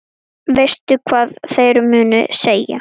Veistu hvað þeir munu segja?